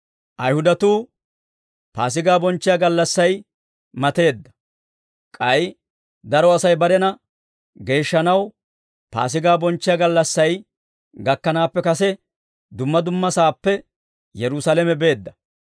Ayihudatuu Paasigaa bonchchiyaa gallassay mateedda; k'ay daro Asay barena geeshshanaw, Paasigaa bonchchiyaa gallassay gakkanaappe kase dumma dumma saappe Yerusaalame beedda.